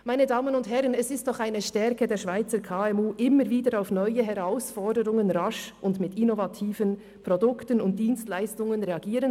Meine Damen und Herren, es ist doch eine Stärke der Schweizer KMU immer wieder auf neue Herausforderungen rasch und mit innovativen Produkten und Dienstleistungen zu reagieren.